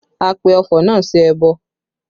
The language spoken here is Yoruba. A pe ọfọ̀ náà sí ẹbọ